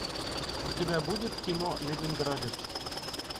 у тебя будет кино ленинградец